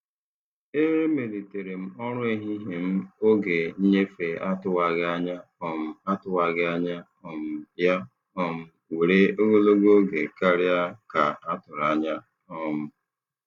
E emelitere m ọrụ ehihie m oge nnyefe atụwaghị anya um atụwaghị anya um ya um were ogologo oge karịa ka a tụrụ anya. um